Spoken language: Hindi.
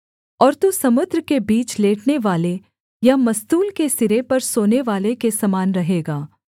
और तू समुद्र के बीच लेटनेवाले या मस्तूल के सिरे पर सोनेवाले के समान रहेगा